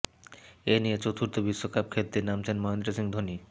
এই নিয়ে চতুর্থ বিশ্বকাপ খেলতে নামছেন মহেন্দ্র সিংহ ধোনি